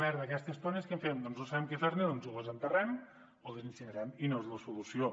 d’aquestes tones què en fem com que no sabem què fer ne doncs les enterrem o les incinerem i no és la solució